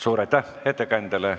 Suur aitäh ettekandjale!